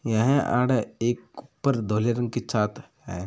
यह आड़ एक ऊपर धोल रंग की छात है।